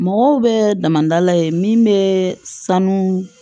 Mɔgɔw bɛ damada ye min bɛ sanu